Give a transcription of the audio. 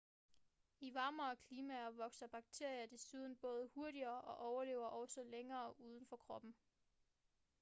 i varmere klimaer vokser bakterier desuden både hurtigere og overlever også længere uden for kroppen